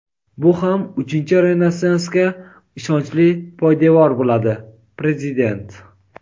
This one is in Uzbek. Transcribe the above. bu ham uchinchi Renessansga ishonchli poydevor bo‘ladi – Prezident.